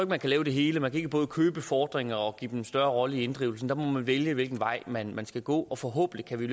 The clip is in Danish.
man kan lave det hele man kan ikke både købe fordringer og samtidig give dem en større rolle i inddrivelsen der må man vælge hvilken vej man man skal gå og forhåbentlig kan vi